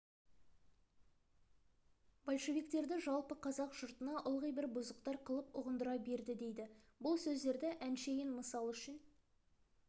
большевиктерді жалпы қазақ жұртына ылғи бір бұзықтар қылып ұғындыра берді дейді бұл сөздерді әншейін мысал үшін